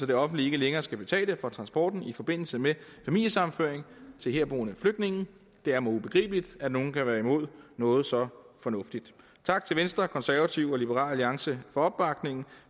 det offentlige ikke længere skal betale for transporten i forbindelse med familiesammenføring til herboende flygtninge det er mig ubegribeligt at nogle kan være imod noget så fornuftigt tak til venstre konservative og liberal alliance for opbakningen